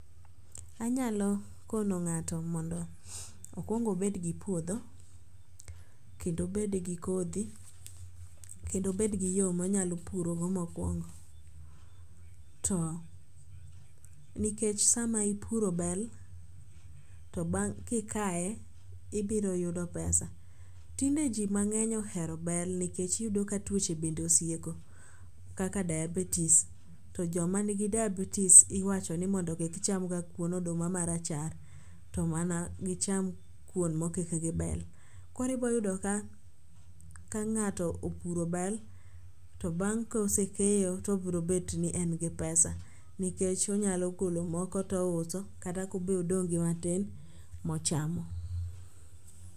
Anyalo kono ng'ato mondo okuong obedgi puodho kendo obedgi kodhi kendo obedgi yo monyalo purogo mokwongo. To nikech sama ipuro bel, to kikaye ibiroyudo pesa tinde ji mang'eny ohero bel nikech iyudo ka tuoche bende osieko kaka dayabetis to joma nigi dayabetis iwacho ni mondo kikchamga kuon oduma marachar to mana gicham kyuon mokik gi bel. Koro iboyudo ka ng'ato opuro bel to bang' kosekeyo tobrobetni en gi pesa nikech onyalo golo moko touso kata kobe odong' gi matin mochamo.